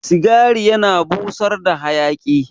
Cigari yana busar da hayaki